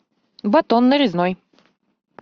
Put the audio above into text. батон нарезной